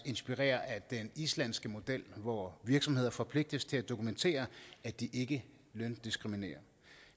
inspirere af den islandske model hvor virksomheder forpligtes til at dokumentere at de ikke løndiskriminerer